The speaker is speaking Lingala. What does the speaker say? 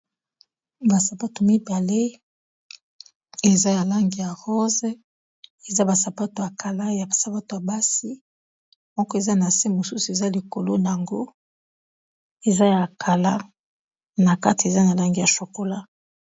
Ba sapato mibale eza ya langi ya rose eza ba sapato ya kala ya ba sapato ya basi moko eza na se mosusu eza likolo nango eza ya kala na kati eza ya langi ya chokola.